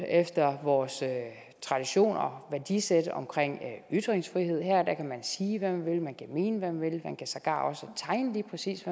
efter vores traditioner og værdisæt omkring ytringsfrihed her kan man sige hvad man vil man kan mene hvad man vil man kan sågar også tegne lige præcis